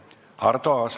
Arto Aas.